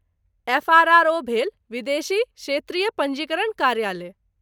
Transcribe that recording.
FRRO. भेल विदेशी क्षेत्रीय पञ्जीकरण कार्यालय।